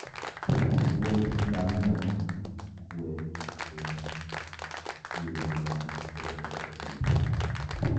Wuoth ngamia bedo gi kuwe kendo yudo mor makende e thim.